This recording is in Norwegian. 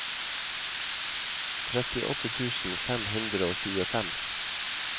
trettiåtte tusen fem hundre og tjuefem